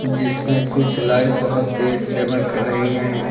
जिसमें कुछ लाइट बहोत तेज चमक रही है।